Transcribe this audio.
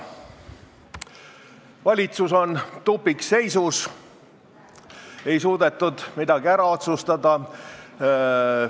Valitsus on tupikseisus, midagi ei suudetud ära otsustada.